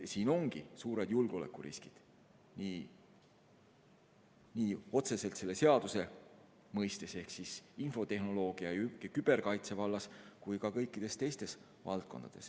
Siin ongi suured julgeolekuriskid, nii otseselt selle seaduse mõistes ehk infotehnoloogia ja küberkaitse vallas kui ka kõikides teistes valdkondades.